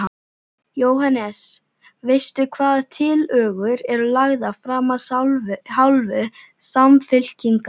Jóhannes: Veistu hvaða tillögur eru lagðar fram af hálfu Samfylkingar?